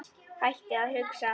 Hættir að hugsa.